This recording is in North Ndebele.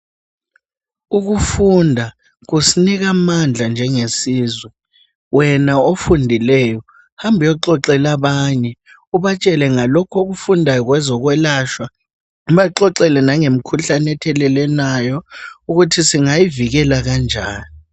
Ukufunda kusinika amandla njengesizwe, wena ofundileyo hambexoxela abanye ubatshele ngalokho okufundayo ngezokwelatshwa. Ubaxoxele ngalokho okufundwayo ngezokwelashwa ubaxoxe nangemkhuhlane ethelelwanayo ukuthi singayivikela kanjani